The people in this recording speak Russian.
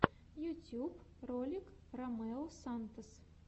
ютьюб ролик ромео сантос